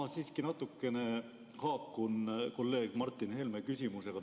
Ma siiski natukene haakun kolleeg Martin Helme küsimusega.